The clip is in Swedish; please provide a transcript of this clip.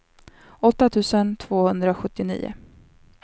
åtta tusen tvåhundrasjuttionio